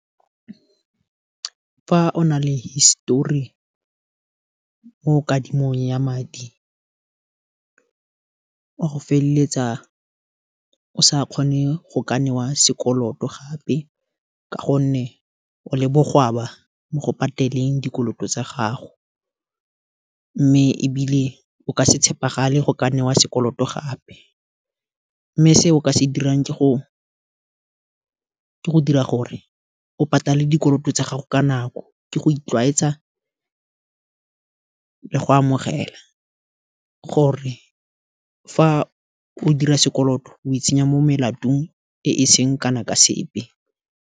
Fa o na le histori mo kadimong ya madi wa go feleletsa o sa kgone go ka newa sekoloto gape, ka gonne o le bogwaba go pateleng dikoloto tsa gago, mme ebile o ka se tshepagale go ka newa sekoloto gape, mme se o ka se dirang ke go dira gore o patale dikoloto tsa gago, ka nako ke go itlwaetsa le go amogela, gore, fa o dira sekoloto o e tsenya mo molatong e seng kana ka sepe.